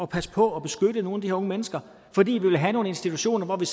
passe på og beskytte nogle her unge mennesker fordi vi vil have nogle institutioner hvor vi